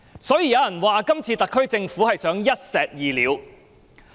所以，有人說今次特區政府想一石二鳥。